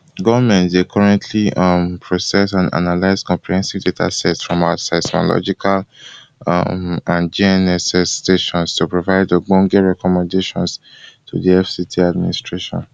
goment dey currently um process and analyse comprehensive datasets from our seismological um and gnss stations to provide ogbonge recommendations to di fct administration